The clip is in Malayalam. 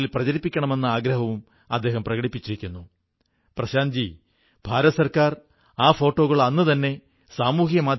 നിങ്ങൾ അതിർത്തിയിലാണെങ്കിലും രാജ്യം മുഴുവൻ നിങ്ങളുടെ കൂടെയുണ്ട് നിങ്ങൾക്കുവേണ്ടി പ്രാർഥിക്കുന്നു എന്നാണു ഞാൻ എന്റെ വീരൻരായ ജവാൻമാാരോടു പറയാനാഗ്രഹിക്കുന്നത്